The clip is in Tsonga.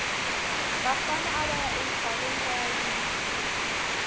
vafana ava ya entshaveni vaya yimbisiwa